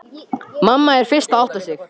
Mamma er fyrst að átta sig: